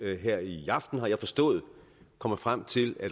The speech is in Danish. her i aften har jeg forstået komme frem til at